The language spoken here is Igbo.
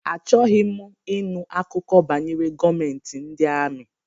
Achọghị m ịnụ akụkọ banyere gọọmentị ndị amị.